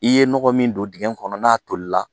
I ye nɔgɔ min don dingɛ kɔnɔ n'a toli la.